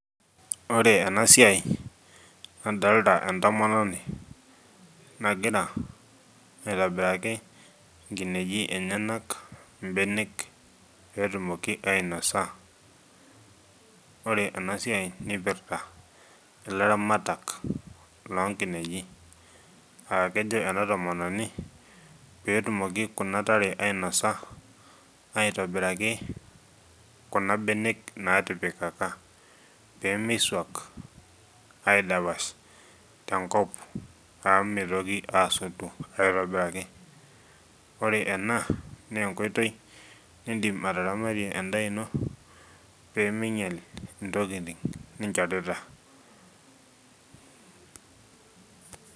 Ore ena siai adolita entomononi nagira aitobiraki nkinejik enyenaka mbenek pee etumoki ainos, ore ena siai nipirta ilaramatak loonkinejik aa kejo ena tomononi pee etumoki kuna tare ainasa aitobiraki kuna benek naatipikaka pee miisuak aidapash tenkop amu mitoki aasotu aitobiraki ore ena naa enkoitoi niidim ataramatie endaa ino pee miinyial ntokitin nchorita.